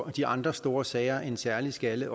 de andre store sager en særlig skalle